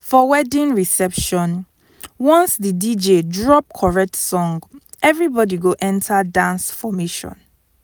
for wedding reception once the dj drop correct song everybody go enter dance formation.